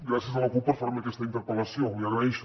gràcies a la cup per fer me aquesta interpel·lació l’hi agraeixo